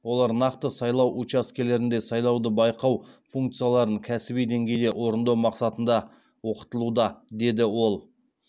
олар нақты сайлау учаскелерінде сайлауды байқау функцияларын кәсіби деңгейде орындау мақсатында оқытылуда деді ол